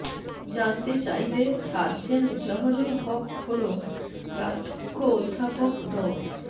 জানতে চাইলে sergeant Zahurul Haque hall প্রাধ্যক্ষ অধ্যাপক ড